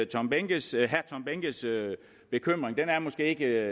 tom behnkes bekymring ikke